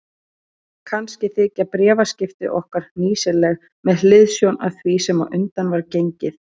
Kannski þykja bréfaskipti okkar hnýsileg með hliðsjón af því sem á undan var gengið.